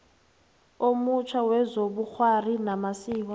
omutjha wezobukghwari namasiko